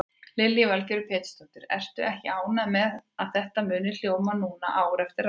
Lillý Valgerður Pétursdóttir: Ertu ekki ánægð með að þetta muni hljóma núna ár eftir ár?